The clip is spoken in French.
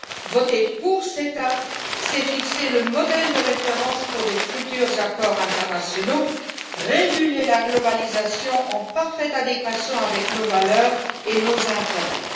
Voter pour le CETA, c'est fixer le modèle de référence pour de futurs accords internationaux et réguler la globalisation en parfaite adéquation avec nos valeurs et nos intérêts.